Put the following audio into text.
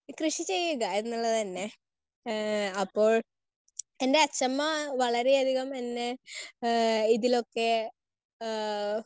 Speaker 1 കൃഷി ചെയ്യുക എന്നുള്ളത് തന്നെ. ഏഹ് അപ്പോൾ എൻറെ അച്ഛമ്മ വളരെയധികം എന്നെ ഏഹ് ഇതിലൊക്കെ ആഹ്